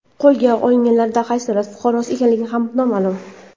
Qo‘lga olinganlar qaysi davlat fuqarosi ekanligi ham noma’lum.